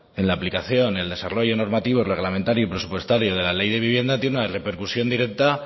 en la aplicación en el desarrollo normativo reglamentario y presupuestario de la ley de vivienda tiene una repercusión directa